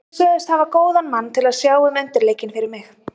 Þeir sögðust hafa góðan mann til að sjá um undirleikinn fyrir mig.